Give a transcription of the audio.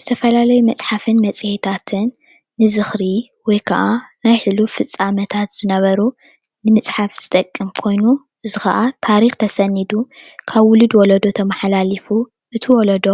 ዝተፈላለዩ መፅሓፍን መጺሄታትን ንዝክሪ ወይ ከዓ ናይ ሕሉፍ ፍፃሜታት ዝነበሩ ንምፅሐፍ ዝጠቅም ኮይኑ እዚ ከዓ ታሪክ ተሰኒዱ ካብ ውሉ ወሎዶ ተማሓላሊፉ ነቲ ወለዶ